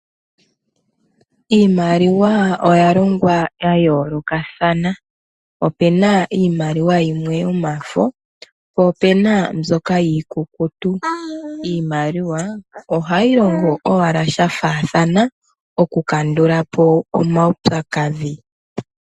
Iimaliwa oya longwa yayoolokathana opena iimaliwa yimwe yomafo po opena yimwe mbyoka iikukutu. Iimaliwa ohayi longo owala shafaathana oku kandulapo omaupyakadhi.